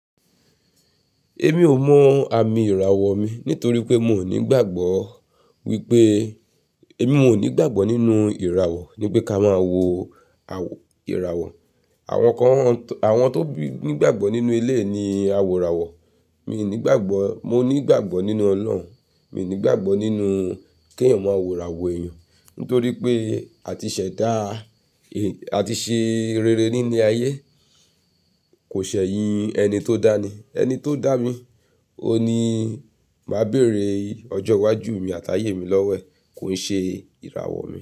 Èmi ò mọ àmì ìràwọ̀ mi nítorí pé mi ò nígbàgbọ́ wípé, èmi ò nígbàgbọ́ nínú ìràwọ̀ ní pé ká máa wo ìràwọ̀. Àwọn kan, àwọn tó nígbàgbọ́ nínú ilé ni awòràwọ̀. Mi ò nígbàgbọ́, mo nígbàgbọ́ nínú Ọlọ́run, mi ò nígbàgbọ́ nínú kí ẹ̀yàn máa wòràwọ̀ èèyàn nítorí pé àti ṣẹ̀ dá, àti ṣe rere nínú ayé kò ṣẹ̀ eyin ẹni tó dá ni. Ẹni tó dá mi, òun ni màá béèrè ọjọ́ iwájú mi àti ayé mi lọ́wẹ̀, kò ní ṣe ìràwọ̀ mi.